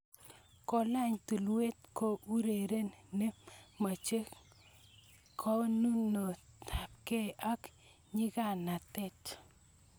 Kelany tulweet ko ureriet ne mochei konemunetabkei ak nyikanatet